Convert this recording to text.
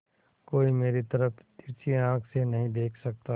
कोई मेरी तरफ तिरछी आँख से नहीं देख सकता